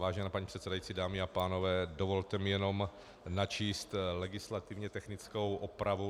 Vážená paní předsedající, dámy a pánové, dovolte mi jenom načíst legislativně technickou opravu.